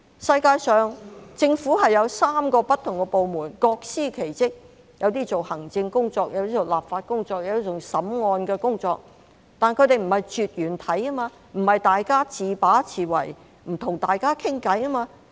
世界上，政府有3個不同的部門，各司其職，有些做行政工作，有些做立法工作，有些做審案的工作，但它們並不是絕緣體，不是大家自把自為，互不溝通。